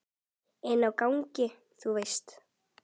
Inni á gangi, þú veist.